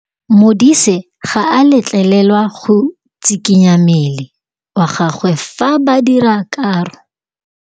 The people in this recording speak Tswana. Modise ga a letlelelwa go tshikinya mmele wa gagwe fa ba dira karô.